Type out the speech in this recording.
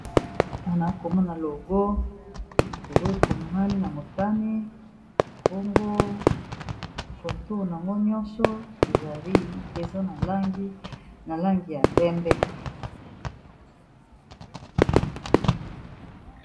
awa naokomona logo logo komami na motane bongo koto ango nyonso ezali eza na langi ya pembe